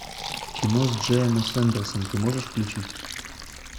кино с джеем о сэндерсом ты можешь включить